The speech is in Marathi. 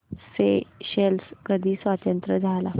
स्येशेल्स कधी स्वतंत्र झाला